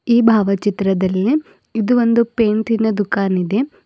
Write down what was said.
ಈ ಭಾವಚಿತ್ರದಲ್ಲಿ ಇದು ಒಂದು ಪೇಂಟಿನ ದುಖಾನ್ ಇದೆ.